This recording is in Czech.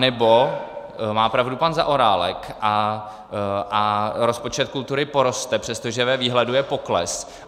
Anebo má pravdu pan Zaorálek a rozpočet kultury poroste, přestože ve výhledu je pokles.